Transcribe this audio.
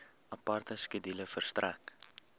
aparte skedule verstrek